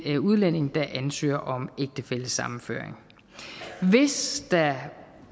udlænding der ansøger om ægtefællesammenføring hvis der